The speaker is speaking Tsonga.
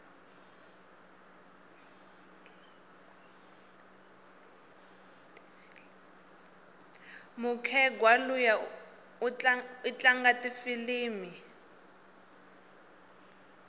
mukhegwa luya itlanga tifilimu